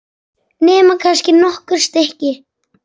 Nema kannski nokkur stykki.